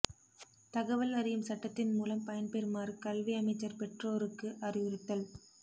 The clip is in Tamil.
தகவல் அறியும் சட்டத்தின் மூலம் பயன்பெறுமாறு கல்வி அமைச்சர் பெற்றோருக்கு அறிவுறுத்தல்